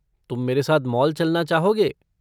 तुम मेरे साथ मॉल चलना चाहोगे?